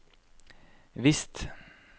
visst